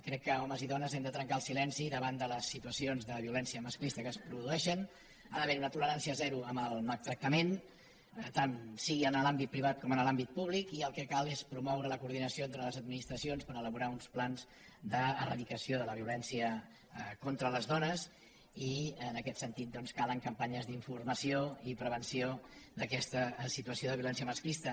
crec que homes i dones hem de trencar el silenci davant de les situacions de violència masclista que es produeixen ha d’haver hi una tolerància zero amb el maltractament tant sigui en l’àmbit privat com en l’àmbit públic i el que cal és promoure la coordinació entre les administracions per elaborar uns plans d’eradicació de la violència contra les dones i en aquest sentit doncs calen campanyes d’informació i prevenció d’aquesta situació de violència masclista